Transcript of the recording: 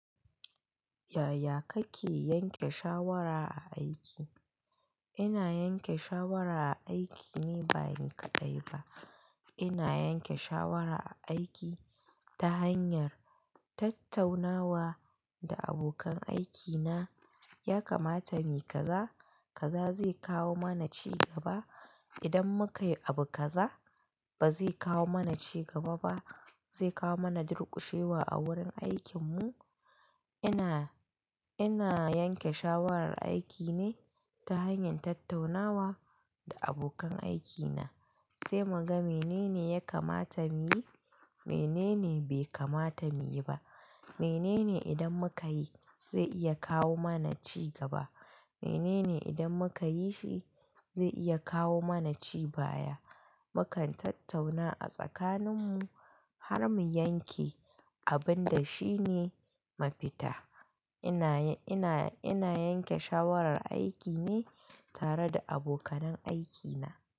Yaya kake yanke shawara a aiki? Ina yanke shawara aiki ne ba ni kadai ba. Ina yanke shawara a aiki ta hanyar tattaunawa da abokan aikina, ya kamata mu yi kaza, kaza zai kawo mana ci gaba. Idan muka yi abu kaza, ba zai kawo mana ci gaba ba, zai kawo mana durƙushewa a wurin aikinmu. Ina, ina yanke shawarar aiki ne ta hanyar tattaunawa da abokan aikina, sai muga menene ya kamata mu yi, menene bai kamata mu yi ba. Menene idan muka yi, zai iya kawo mana ci gaba. Menene idan muka yi shi, zai iya kawo mana cibaya. Mukan tattauna a tsakaninmu har mu yanke abin da shine mafita. Ina, ina, ina yanke shawarar aiki ne tare da abokanan aikina.